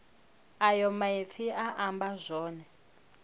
ayo maipfi a amba zwone